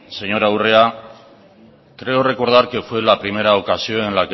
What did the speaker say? señora urrea creo recordar que fue la primera ocasión en